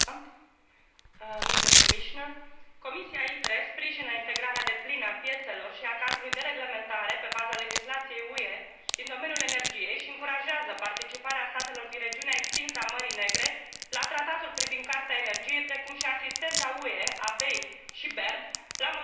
Comisia ITRE sprijină integrarea deplină a piețelor și a cadrului de reglementare, pe baza legislației UE, din domeniul energiei și încurajează participarea statelor din regiunea extinsă a Mării Negre la Tratatul privind Carta energiei, precum și asistența UE, a BEI și BERD la modernizarea infrastructurii energetice în regiune.